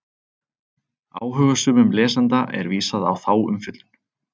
Áhugasömum lesanda er vísað á þá umfjöllun.